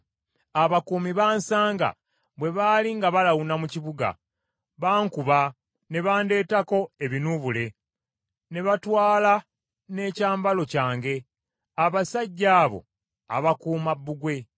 Abakuumi baansanga bwe baali nga balawuna mu kibuga; baankuba, ne bandeetako ebinuubule, ne batwala n’ekyambalo kyange, abasajja abo abakuuma bbugwe.